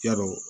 Yarɔ